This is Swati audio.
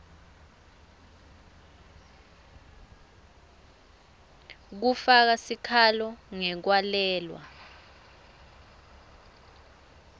kufaka sikhalo ngekwalelwa